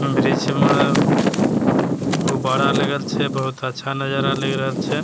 वृक्ष मे गुब्बारा लगल छैबहुत अच्छा नजरा लग रहल छै।